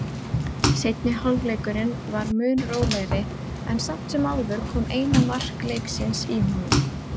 Seinni hálfleikurinn var mun rólegri en samt sem áður kom eina mark leiksins í honum.